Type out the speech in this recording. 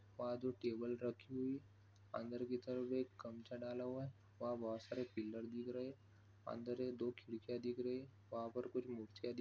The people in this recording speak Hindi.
वहाँ जो टेबल रखी हुई अंदर की तरफ एक गमछा डाला हुआ है। वहाँ बहुत सारे पिलर दिख रहै है अंदर ये दो खिड़कियाँ दिख रही है। वहाँ पर कुछ मूर्तिया दिख--